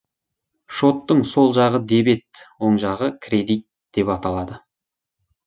шоттың сол жағы дебет оң жағы кредит деп аталады